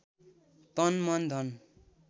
तन मन धन